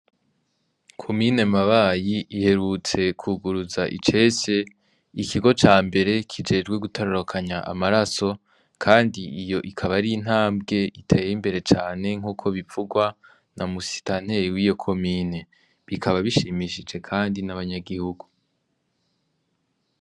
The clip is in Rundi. Komine Mabayi iherutse kwiguruza icese ikigo ca mbere kijejwe gutororokanya amaraso kandi iyo ikaba ari intamvwe iteye imbere cane nkuko bivugwa na musitanteri wiyo komine , bikaba bishimishije kandi n' abanyagihugu.